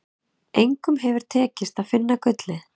Engum hefur tekist að finna gullið.